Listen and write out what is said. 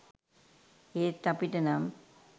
ඒත් අපිටනම්